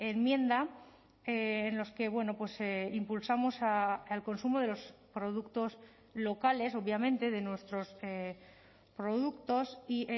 enmienda en los que impulsamos al consumo de los productos locales obviamente de nuestros productos y